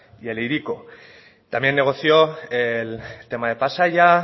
y el hiriko también negoció el tema de pasaia